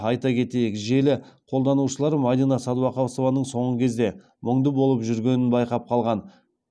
айта кетейік желі қолданушылары мадина сәдуақасованың соңғы кезде мұңды болып жүргенін байқап қалған